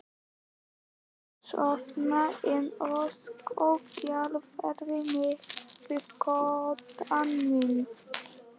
Ég gat sofnað en ósköp gjálfraði mikið við koddann minn.